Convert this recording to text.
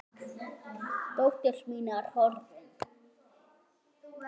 Dóttir mín er horfin.